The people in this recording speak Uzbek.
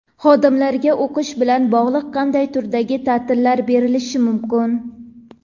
Xodimlarga o‘qish bilan bog‘liq qanday turdagi ta’tillar berilishi mumkin?.